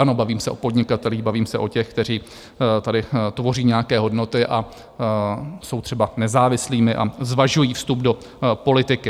Ano, bavím se o podnikatelích, bavím se o těch, kteří tady tvoří nějaké hodnoty a jsou třeba nezávislými a zvažují vstup do politiky.